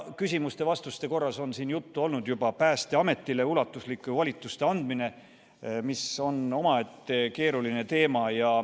Küsimuste-vastuste korras on siin juttu olnud juba Päästeametile ulatuslike volituste andmisest, mis on omaette keeruline teema.